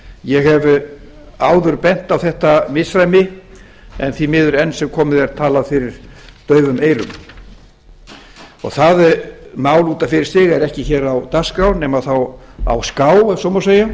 ég hef áður bent á þetta misræmi en því miður enn sem komið er talað fyrir daufum eyrum það mál út af fyrir sig er ekki hér á dagskrá nema þá á ská ef svo má segja